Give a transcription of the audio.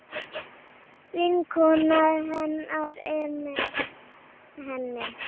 Vinkona hennar er með henni.